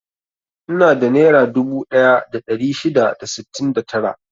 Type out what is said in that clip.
Ina da nera dubu ɗaya da ɗari shida da sittin da tara.